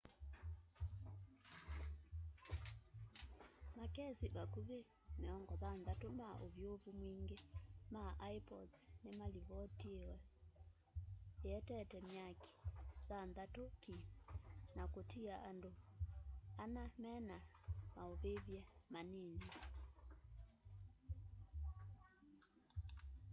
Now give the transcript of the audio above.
makesi vakũvĩ 60 ma ũvyũvũ mwĩngĩ ma ĩpods nĩmalivotiiwe ĩetete myaki thanthatũ ki na kũtia andũ ana mena maũvĩvye manini